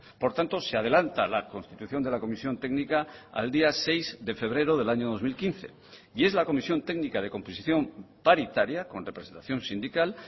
por tanto se adelanta la constitución de la comisión técnica al día seis de febrero del año dos mil quince y es la comisión técnica de composición paritaria con representación sindical